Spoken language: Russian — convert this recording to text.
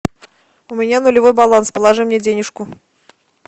у меня нулевой баланс положи мне денежку